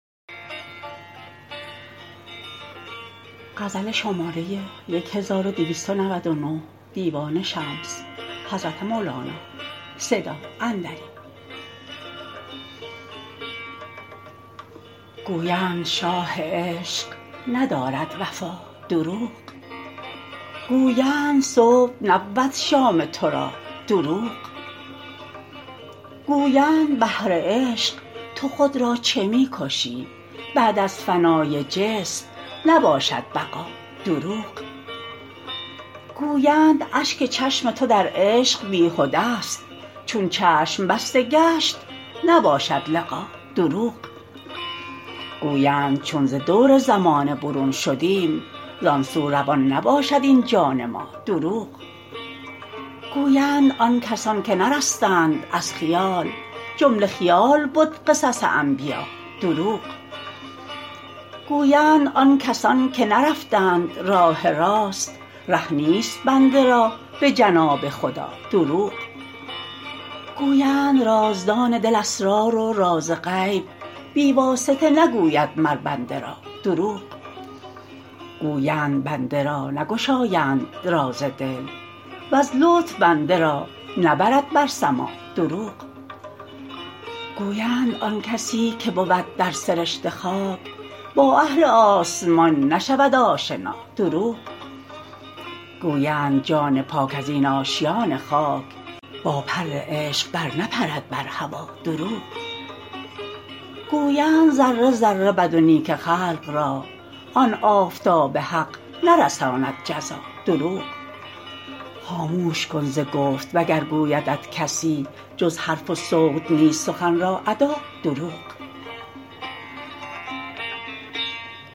گویند شاه عشق ندارد وفا دروغ گویند صبح نبود شام تو را دروغ گویند بهر عشق تو خود را چه می کشی بعد از فنای جسم نباشد بقا دروغ گویند اشک چشم تو در عشق بیهده ست چون چشم بسته گشت نباشد لقا دروغ گویند چون ز دور زمانه برون شدیم زان سو روان نباشد این جان ما دروغ گویند آن کسان که نرستند از خیال جمله خیال بد قصص انبیا دروغ گویند آن کسان که نرفتند راه راست ره نیست بنده را به جناب خدا دروغ گویند رازدان دل اسرار و راز غیب بی واسطه نگوید مر بنده را دروغ گویند بنده را نگشایند راز دل وز لطف بنده را نبرد بر سما دروغ گویند آن کسی که بود در سرشت خاک با اهل آسمان نشود آشنا دروغ گویند جان پاک از این آشیان خاک با پر عشق برنپرد بر هوا دروغ گویند ذره ذره بد و نیک خلق را آن آفتاب حق نرساند جزا دروغ خاموش کن ز گفت وگر گویدت کسی جز حرف و صوت نیست سخن را ادا دروغ